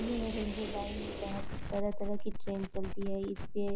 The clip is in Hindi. यह रेलवे लाइन जहाँ तरह-तरह की ट्रेन चलती हैं इसपे।